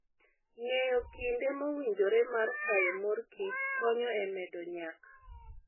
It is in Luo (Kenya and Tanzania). Ng'eyo kinde mowinjore mar kayo morkich konyo e medo nyak.